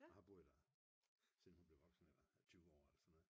Og har boet der siden hun blev voksen eller 20 år eller sådan noget